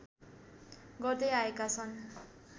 गर्दैआएका छन्